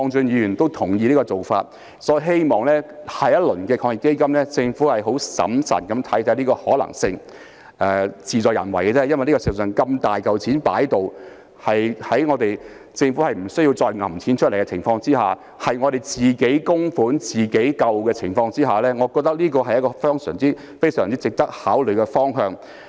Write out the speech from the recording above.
因此，我希望在下一輪防疫抗疫基金，政府可以審慎看看這個建議的可能性，其實只是事在人為，因為事實上如此龐大的一筆資金，讓政府在不需要再額外撥款的情況下，實施"自己供款自己救"，我認為這是非常值得考慮的方向。